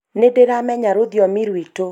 nĩndĩramenya rũthiomi rwitũ